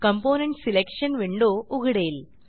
component selection window उघडेल